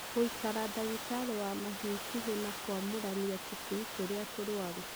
Gũikara ndagĩtarĩ wa mahiũ ikuhĩ na kwamũrania tũcui tũrĩa tũrwaru.